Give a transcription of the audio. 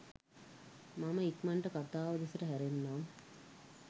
මම ඉක්මනටම කතාව දෙසට හැරෙන්නම්